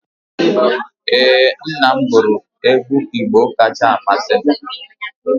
Ee, nna m guru egwu Igbo kacha amasị m